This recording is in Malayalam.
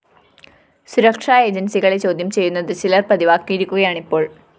സുരക്ഷാ ഏജന്‍സികളെ ചോദ്യം ചെയ്യുന്നത് ചിലര്‍ പതിവാക്കിയിരിക്കുകയാണിപ്പോള്‍